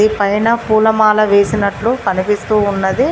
ఈ పైన పూలమాల వేసినట్లు కనిపిస్తూ ఉన్నది.